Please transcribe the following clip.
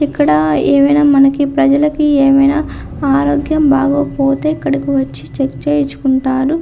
ఇక్కడ ఏమైనా మనకి ప్రజలకి ఏమైనా ఆరోగ్యం బాగోకపోతే ఇక్కడికి వచ్చి చెక్ చేయించుకుంటారు.